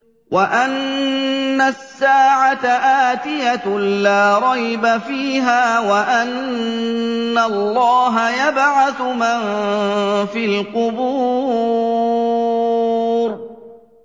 وَأَنَّ السَّاعَةَ آتِيَةٌ لَّا رَيْبَ فِيهَا وَأَنَّ اللَّهَ يَبْعَثُ مَن فِي الْقُبُورِ